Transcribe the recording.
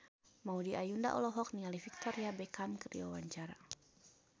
Maudy Ayunda olohok ningali Victoria Beckham keur diwawancara